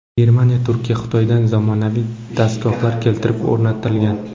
Germaniya, Turkiya, Xitoydan zamonaviy dastgohlar keltirib o‘rnatilgan.